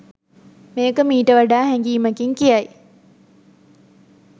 මේක මීට වඩා හැඟීමකින් කියයි